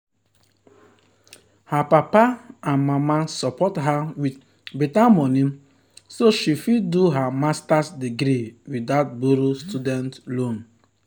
her papa and mama support her with better money so she fit do her master’s degree without borrow student loan.